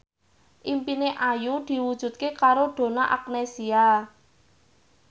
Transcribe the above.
impine Ayu diwujudke karo Donna Agnesia